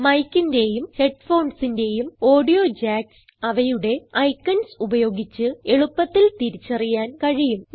micന്റേയും headphonesന്റേയും audio jacks അവയുടെ icons ഉപയോഗിച്ച് എളുപ്പത്തിൽ തിരിച്ചറിയാൻ കഴിയും